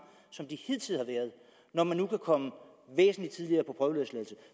som de hidtil har været når man nu kan komme væsentlig tidligere på prøveløsladelse